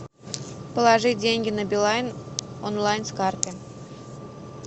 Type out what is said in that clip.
положить деньги на билайн онлайн с карты